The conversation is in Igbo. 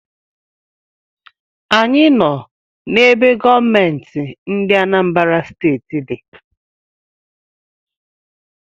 Anyị nọ n’ebe gọọmenti ndị Anambra Steeti di